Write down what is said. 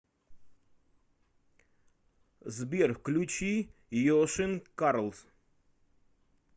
сбер включи йошен карлс